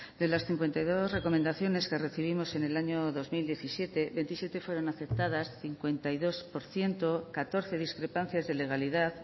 de las cincuenta y dos recomendaciones que recibimos en el año dos mil diecisiete veintisiete fueron aceptadas cincuenta y dos por ciento catorce discrepancias de legalidad